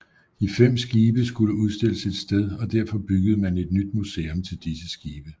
De fem skibe skulle udstilles et sted og derfor byggede man et nyt museum til disse skibe